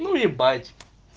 ну ебать